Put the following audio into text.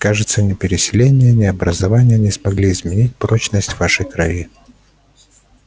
кажется ни переселение ни образование не смогли изменить порочность вашей крови